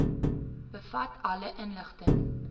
bevat alle inligting